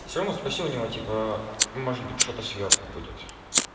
сёма спроси у него типа может быть что-то сверху будет